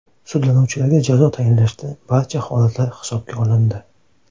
Sudlanuvchilarga jazo tayinlashda barcha holatlar hisobga olindi.